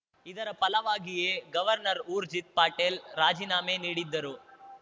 ಇದರ ಫಲವಾಗಿಯೇ ಗವರ್ನರ್‌ ಊರ್ಜಿತ್‌ ಪಟೇಲ್‌ ರಾಜಿನಾಮೆ ನೀಡಿದ್ದರು